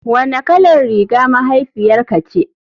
Wanne kalar riga mahaifiyarka ce.